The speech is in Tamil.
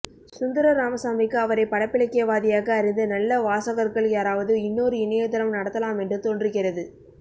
சுந்தர ராமசாமிக்கு அவரை படைப்பிலக்கியவாதியாக அறிந்த நல்ல வாசகர்கள் யாராவது இன்னொரு இணையதளம் நடத்தலாமென்று தோன்றுகிறது